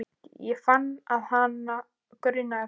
Ég fann að hana grunaði það.